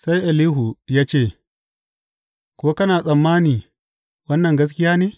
Sai Elihu ya ce, Ko kana tsammani wannan gaskiya ne?